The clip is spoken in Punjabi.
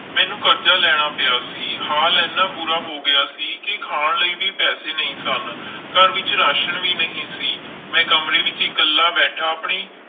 ਮੈਨੂੰ ਕਰਜ਼ਾ ਲੈਣਾ ਪਿਆ ਸੀ ਹਾਲ ਇੰਨਾ ਬੁਰਾ ਹੋ ਗਿਆ ਸੀ ਕਿ ਖਾਣ ਲਈ ਵੀ ਪੈਸੇ ਨਹੀਂ ਸਨ ਘਰ ਵਿੱਚ ਰਾਸ਼ਣ ਵੀ ਨਹੀਂ ਸੀ, ਮੈਂ ਕਮਰੇ ਵਿੱਚ ਇਕੱਲਾ ਬੈਠਾ ਆਪਣੀ,